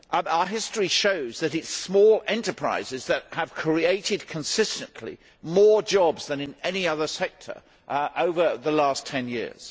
Our history shows that it is small enterprises that have consistently created more jobs than in any other sector over the last ten years.